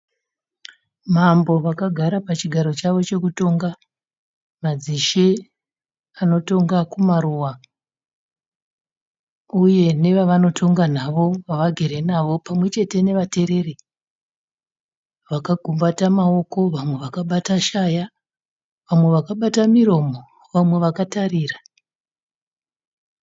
Mambo vakagara pachigaro chavo chekutonga, madzishe anotonga kumaruva uye nevavanotonga navo vavagere navo pamwe chete nevatereri vakagumbata maoko vamwe vakabata shaya, vamwe vakabata miromo vamwe vakatarira.